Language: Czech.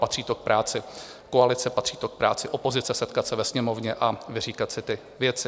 Patří to k práci koalice, patří to k práci opozice setkat se ve Sněmovně a vyříkat si ty věci.